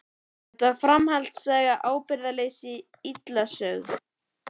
Þetta var framhaldssaga ábyrgðarleysis, illa sögð.